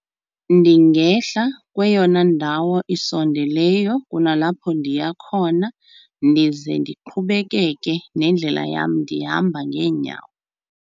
Ndingehla kweyona ndawo isondeleyo kunalapho ndiya khona ndize ndiqhubekeke nendlela yam ndihamba ngeenyawo.